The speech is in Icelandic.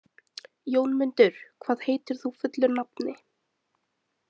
Jónmundur, hvað heitir þú fullu nafni?